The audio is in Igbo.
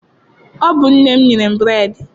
Ọ bụ nne m nyere m bureedị